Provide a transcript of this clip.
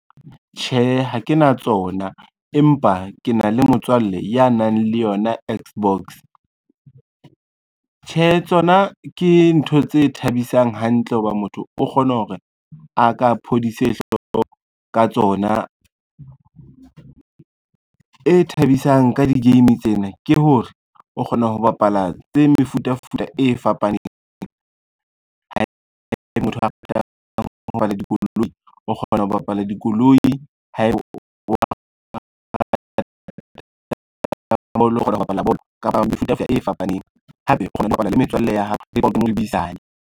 Tjhe, ha ke na tsona empa ke na le motswalle ya nang le yona X-box. Tjhe tsona ke ntho tse thabisang hantle ho ba motho o kgona hore a ka phodise hloko ka tsona. E thabisang ka di-game tsena ke hore, o kgona ho bapala tse mefutafuta e fapaneng haebe o kgona ho bapala dikoloi o kgona ho bapala bolo kapa mefuta e fapaneng, hape o kgona ho bapala le metswalle ya hao .